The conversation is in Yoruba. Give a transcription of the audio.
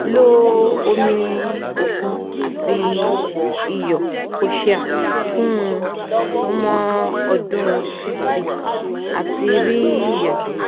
lo omi okun ati iyo kosher fun sumo odun fifty ati ri iyato